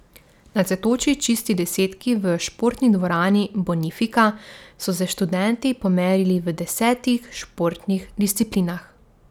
Na Cvetoči čisti desetki v Športni dvorani Bonifika so se študenti pomerili v desetih športnih disciplinah.